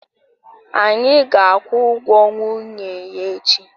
Anyị ga-akwụ ụgwọ nwunye ya echi